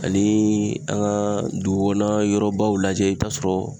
Anii an ga dugukɔnɔ yɔrɔbaw lajɛ i bi t'a sɔrɔ